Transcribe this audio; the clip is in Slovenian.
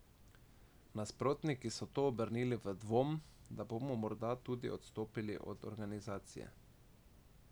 Nasprotniki so to obrnili v dvom, da bomo morda odstopili tudi od organizacije.